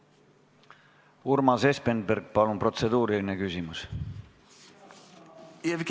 Urmas Espenberg, palun protseduuriline küsimus!